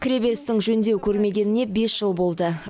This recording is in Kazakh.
кіреберістің жөндеу көрмегеніне бес жыл болды